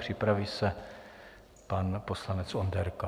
Připraví se pan poslanec Onderka.